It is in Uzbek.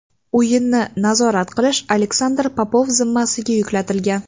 O‘yinni nazorat qilish Aleksandr Popov zimmasiga yuklatilgan.